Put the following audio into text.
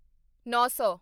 ਨੌਂ ਸੌ